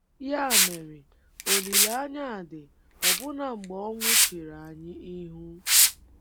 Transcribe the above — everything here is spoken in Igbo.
Ya mere, olileanya dị ọbụna mgbe ọnwụ chere anyị ihu.